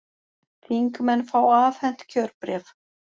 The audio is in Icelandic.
Þingmenn fá afhent kjörbréf